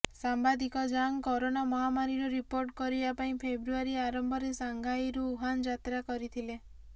ସାମ୍ବାଦିକ Zhang corona ମହାମାରୀର report କରିବା ପାଇଁ ଫେବୃୟାରୀ ଆରମ୍ଭରେ ଶାଙ୍ଘାଇରୁ ଉହାନ ଯାତ୍ରା କରିଥିଲେ